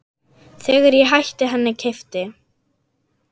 Þegar ég hætti henni keypti